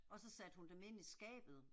Og så satte hun dem ind i skabet